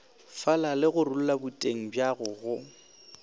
falale gorulla boteng bjago go